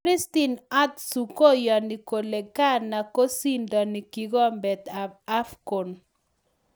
Christian Atsu koyoni kole Ghana kosindoni kikombet ab AFCON